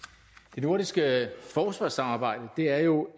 det nordiske forsvarssamarbejde er jo